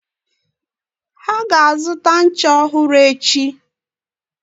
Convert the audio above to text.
Ha ga-azụta ncha ọhụrụ echi.